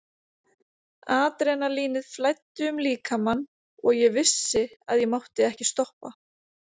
Adrenalínið flæddi um líkamann og ég vissi að ég mátti ekki stoppa.